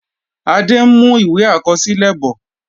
Adé ń mú ìwé àkọsílẹ bọ̀.